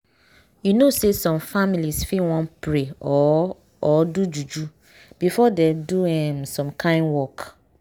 you know say some families fit wan pray or or do juju before dem do um some kind work.